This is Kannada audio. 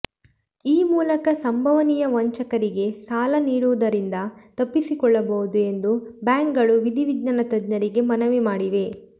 ಈ ಮೂಲಕ ಸಂಭವನೀಯ ವಂಚಕರಿಗೆ ಸಾಲ ನೀಡುವುದರಿಂದ ತಪ್ಪಿಸಿಕೊಳ್ಳಬಹುದು ಎಂದು ಬ್ಯಾಂಕ್ಗಳು ವಿಧಿವಿಜ್ಞಾನ ತಜ್ಞರಿಗೆ ಮನವಿ ಮಾಡಿವೆ